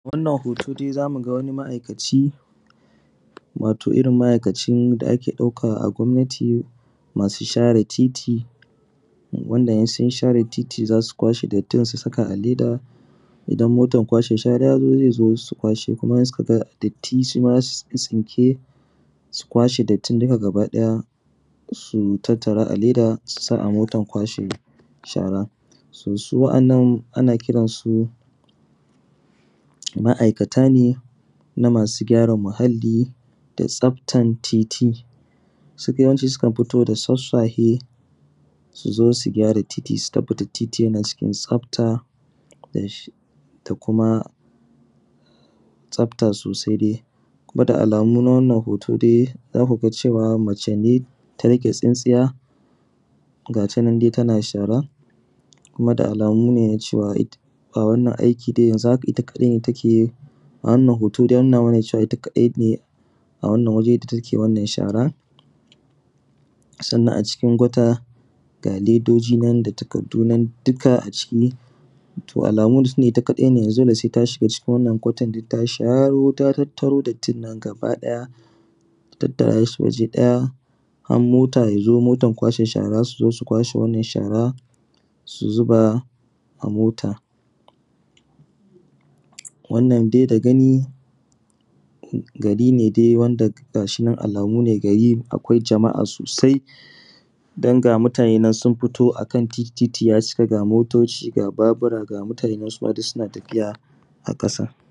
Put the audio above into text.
Wannan dai zamuga wani ma’aikaci wato irrin ma’aikacin da ake ɗauka a gwamnati masu share titi wanda insun share titi zasu kwashe dattin su zubar a leda wanda idan motan kwashe shara yazo zai zo su kwashe kuma in sukaga datti suma zasu tsintsince su kwashe dattin duka gabaki ɗaya su tattara a leda susa a motan kwashe shara. Su wa’annan ana kiransu ma’aikata ne na masu gyara muhalli da tsaftan titi sudai yawanci sukan hito da sassafe suzo sugyara titi su tabbatar titi yana cikin tsafta da kuma da kuma tsafta sosai. Kuma da alamu na wannan hoton dai zauma cewa mace ta riƙe tsintsiya gatanan dai tana shara kuma da alamu ne nacewa a wannan aiki dai da alamu yanzu haka itta kaɗai ne takeyi. A wannan hoto dai ya nuna cewan itta kaɗai ne a wannan waje da take shara sannan a cikin gutta ga ledojinan da takaddadu duka a ciki, to alamu dai tunda itta kaɗai ne dole saita shiga cikin wannan kwatan ta sharo ta tattro dattin nan gaba ɗaya ta tattarashi waje ɗaya kan mota yazo, motan kwashe shara suzo su kwashe wannan shara su zuba a mota. Wannanm dai da gani gari wanda gashinan da gani akwai jama’a sosai danga mutanen nan sunfito akan titi, titi ya cika ga motoci ga Babura ga mutanen suma duk suna tafiya a ƙasa.